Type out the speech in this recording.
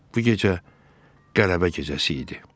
Bu gecə qələbə gecəsi idi.